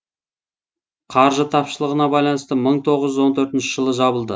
қаржы тапшылығына байланысты мың тоғыз жүз он төртінші жылы жабылды